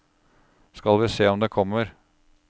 Skal vi se om det kommer.